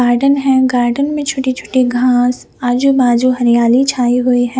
Garden है garden में छोटी छोटी घास आजू बाजू हरियाली छाई हुई हैं।